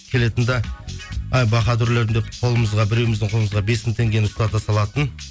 келетін де ай баһадүрлерім деп қолымызға біреуіміздің қолымызға бес мың теңгені ұстата салатын